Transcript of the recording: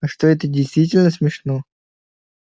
а что это действительно смешно